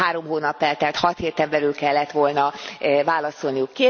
Három hónap eltelt, hat héten belül kellett volna válaszolniuk.